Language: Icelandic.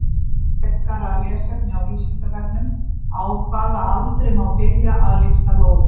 Frekara lesefni á Vísindavefnum: Á hvaða aldri má byrja að lyfta lóðum?